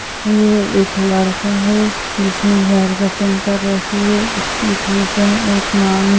ये एक लड़का है जिसने हेयर कटिंग कर रखी है इसकी मांग --